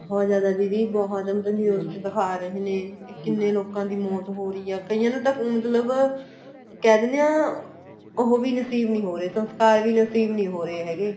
ਬਹੁਤ ਜਿਆਦਾ ਦੀਦੀ ਬਹੁਤ ਹੁਣ ਤਾਂ ਚ ਦਿਖਾ ਰਹੇ ਨੇ ਲੋਕਾ ਦੀ ਮੋਤ ਹੋ ਰਹੀ ਏ ਕਈਆਂ ਨੂੰ ਤਾਂ ਮਤਲਬ ਕਹਿ ਦਿਨੇ ਆ ਉਹ ਵੀ ਨਸੀਬ ਨੀਂ ਹੋ ਰਹੇ ਸੰਸਕਾਰ ਵੀ ਨਸੀਬ ਨੀਂ ਹੋ ਰਹੇ ਹੈਗੇ